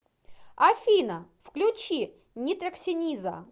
афина включи нитроксениза